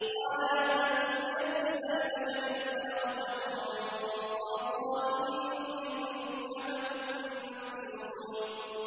قَالَ لَمْ أَكُن لِّأَسْجُدَ لِبَشَرٍ خَلَقْتَهُ مِن صَلْصَالٍ مِّنْ حَمَإٍ مَّسْنُونٍ